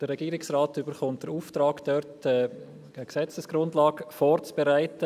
Der Regierungsrat erhält den Auftrag, dazu eine Gesetzesgrundlage vorzubereiten.